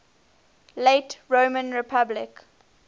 late roman republic